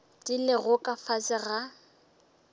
di lego ka fase ga